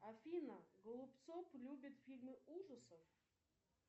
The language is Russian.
афина голубцов любит фильмы ужасов